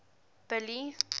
billy